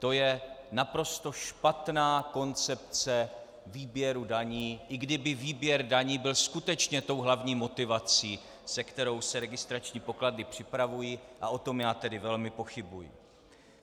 To je naprosto špatná koncepce výběru daní, i kdyby výběr daní byl skutečně tou hlavní motivací, se kterou se registrační pokladny připravují, a o tom já tady velmi pochybuji.